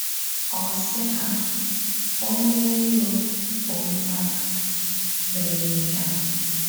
Ọ̀ sị hà, ‘Ọ̀nyé ìró, bụ́ mmádụ̀, mèrè íhè a.’